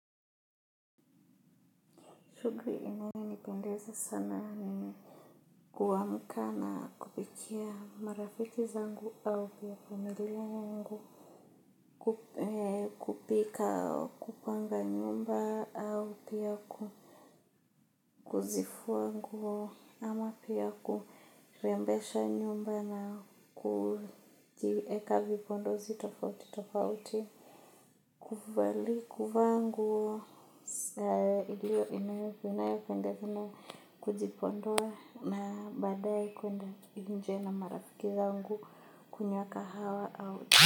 Shughuli inayonipendeza sana ni kuamka na kupikia marafiki zangu na familia yangu kupika kupanga nyumba au pia kuzifua nguo ama pia kurembesha nyumba na kujieka vipondozi tofauti tofauti. Kuvalia kuvaa nguo inayopendeza na kujipodoa na baadaye kwenda nje na marafki wangu kunywa kahawa.